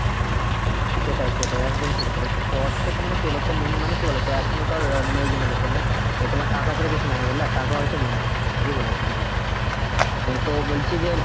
সেটাই সেটাই একদম ঠিক বলেছ তো অর্থ তো মানে কি বলতো main মানে কি বলতো? এখনকার মানে এই generation এ তোমার টাকা ছাড়া কিছু নেই বুঝলা, টাকা হয়ছে main জিনিস ঠিকই বলেছ তুমি। হম অ্যাঁ তো বলছি যে,